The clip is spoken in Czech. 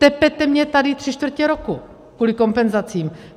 Tepete mě tady tři čtvrtě roku kvůli kompenzacím.